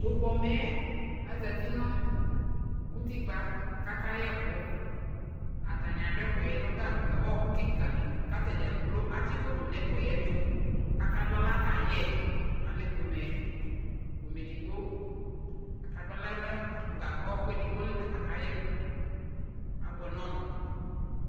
Tʋ pomɛ yɛ azati nʋ utikpǝ kʋ atanɩ kayɛ ɛkʋ Atanɩ adʋ ɛkʋyɛ nʋ gagba ɔɣɔkʋ kɩka li kʋ ata dza kplo atsɩ koto nʋ ɛkʋyɛ yɛ tʋ kʋ akadʋ aɣla kayɛ Alɛ pomɛ, pomɛ edigbo Akadʋ aɣla nʋ gag, ɔɣɔkʋ edigbo li la kʋ akayɛ ɛkʋ Abʋɛ nʋ ɔmʋ